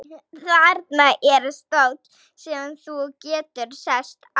Þarna er stóll sem þú getur sest á.